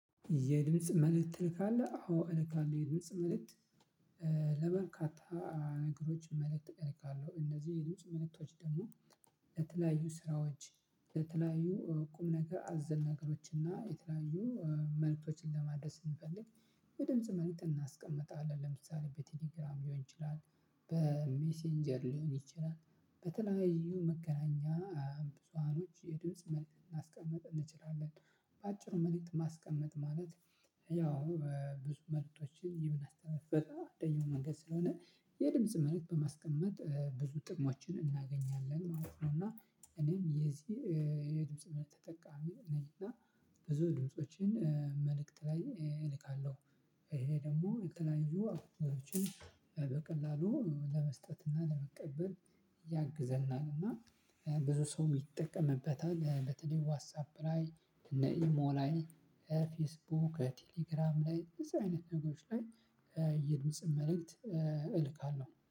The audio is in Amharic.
የድምጽ መልእክት ትልካለህ? አዎ እልካለሁ የድምጽ መልእክት ለበርካታ ነገሮች መልእክት እልካለው። እነዚህ የድምጽ መልእክቶች ደግሞ ለተለያዩ ስራዎች። ለተለያዩ ቁም ነገር አዘል ነገሮችን እና የተለያዩ መልእክቶችን ለማድረስ ስንፈልግ። የድምጽ መልእክት እናስቀምጣለን ለምሳሌ በቴሌግራም ሊሆን ይችላል በሜሴንጀር ሊሆን ይችላል በተለያዩ መገናኛ ብዙሃኖች የድምጽ መልእክት ማስቀምጥ እንችላለን። በአጭሩ መልእክት ማስቀመጥ ማለት ያው ብዙ መልእክቶችን የምናስተላልፍበት አደኛው መንገድ ስለሆነ የድምጽ መልእክት በማስቀመጥ ብዙ ጥቅሞችን እናገኛለን ማለት ነው። እና እኔም የዚህ የድምጽ ተጠቃሚ ነኝ እና ብዙ ድምፆችን መልእክት ላይ እልካለሁ። ይሄ ደግሞ የተለያዩ ጉዳዮችን በቀላሉ ለመስጠት እና ለመቀበል ያግዘናል። እና ብዙ ሰው ይጠቀምበታል በተለይ ዋትሳፕ ላይ እነ ኢሞ ላይ ፌስቡክ ቴሌግራም ላይ እነዚህ አይነት ነገሮች ላይ። የድምጽን መልእክት እልካለሁ